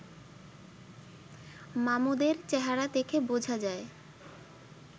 মামুদের চেহারা দেখে বোঝা যায়